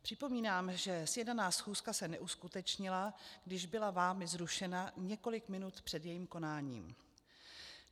Připomínám, že sjednaná schůzka se neuskutečnila, když byla vámi zrušena několik minut před jejím konáním.